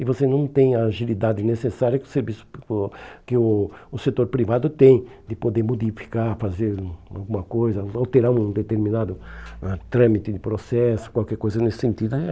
E você não tem a agilidade necessária que o serviço que o o setor privado tem, de poder modificar, fazer alguma coisa, alterar um determinado ah trâmite de processo, qualquer coisa nesse sentido. Eh